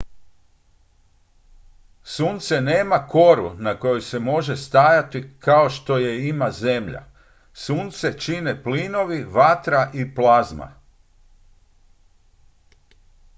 sunce nema koru na kojoj se može stajati kao što je ima zemlja sunce čine plinovi vatra i plazma